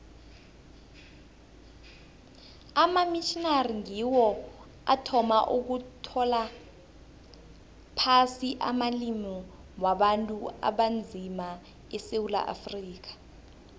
amamitjhnari ngiwo athoma ukutlola phasi amalimi wabantu abanzima esewula afrika